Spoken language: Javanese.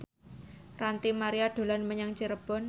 Ranty Maria dolan menyang Cirebon